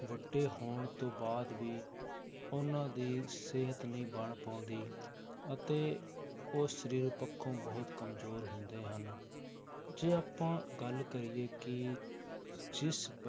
ਵੱਡੇ ਹੋਣ ਤੋਂ ਬਾਅਦ ਵੀ ਉਹਨਾਂ ਦੀ ਸਿਹਤ ਨਹੀਂ ਬਣ ਪਾਉਂਦੀ ਅਤੇ ਉਹ ਸਰੀਰ ਪੱਖੋਂ ਬਹੁਤ ਕੰਮਜ਼ੋਰ ਹੁੰਦੇ ਹਨ, ਜੇ ਆਪਾਂ ਗੱਲ ਕਰੀਏ ਕਿ ਜਿਸ